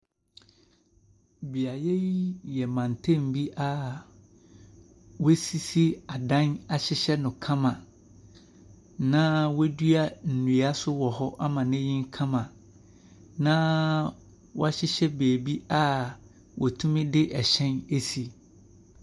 Beaeɛ yi yɛ mantam bi a wɔasisi adanm ahyehyɛ no kama, na wɔadua nnua nso wɔ hɔ ama no anyini kama, na wɔhyehyɛ baabi a wɔtumi de ɛhyɛn si.